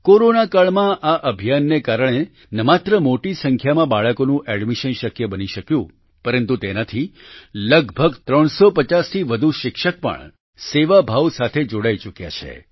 કોરોનાકાળમાં આ અભિયાનને કારણે ન માત્ર મોટી સંખ્યામાં બાળકોનું એડમિશન શક્ય બની શક્યું પરંતુ તેનાથી લગભગ 350 થી વધુ શિક્ષક પણ સેવાભાવ સાથે જોડાઈ ચૂક્યા છે